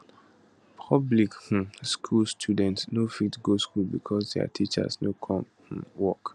public um school students no fit go school becos dia teachers no come um work